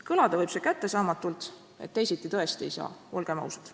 Kõlada võib see kättesaamatult, ent teisiti tõesti ei saa, olgem ausad.